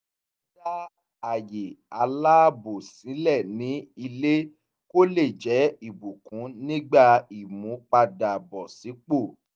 wọ́n dá àyè aláàbò sílẹ̀ ní ilé kó lè jẹ́ ìbùkún nígbà ìmúpadàbọ̀sípò